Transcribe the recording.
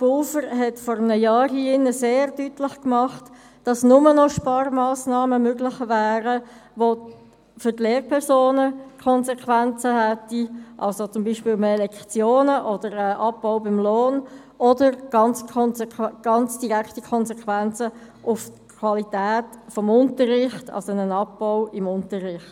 Pulver hat vor einem Jahr hier sehr deutlich gemacht, dass nur noch Sparmassnahmen möglich wären, die für die Lehrpersonen Konsequenzen hätten, wie zum Beispiel mehr Lektionen oder einen Abbau beim Lohn, oder ganz direkte Konsequenzen auf die Qualität des Unterrichts, also einen Abbau beim Unterricht.